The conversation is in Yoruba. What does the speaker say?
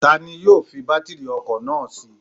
Tani yóò fi bátírì ọkọ̀ náà sí?